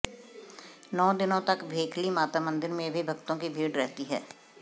नौ दिनों तक भेखली माता मंदिर में भी भक्तों की भीड़ रहती है